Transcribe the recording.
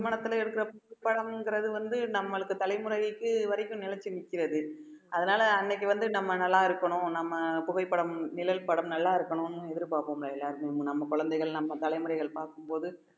திருமணத்துல எடுக்கிற படம்ங்கிறது வந்து நம்மளுக்கு தலைமுறைக்கு வரைக்கும் நிலைச்சு நிற்கிறது அதனால அன்னைக்கு வந்து நம்ம நல்லா இருக்கணும் நம்ம புகைப்படம் நிழல் படம் நல்லா இருக்கணும்ன்னு எதிர்பார்ப்போம்ல எல்லாருமே நம்ம குழந்தைகள் நம்ம தலைமுறைகள் பார்க்கும் போது